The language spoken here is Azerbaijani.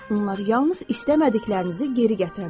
Bunlar yalnız istəmədiklərinizi geri gətirə bilər.